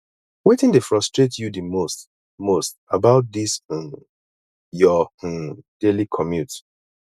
wetin dey frustrate you di most most about dis um your um daily commute